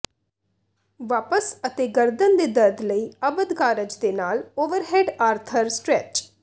ਵਾਪਸ ਅਤੇ ਗਰਦਨ ਦੇ ਦਰਦ ਲਈ ਅਬਦ ਕਾਰਜ ਦੇ ਨਾਲ ਓਵਰਹੈੱਡ ਆਰਥਰ ਸਟੈਚ